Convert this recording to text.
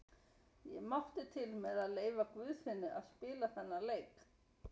Ég mátti til með að leyfa Guðfinni að spila þennan leik.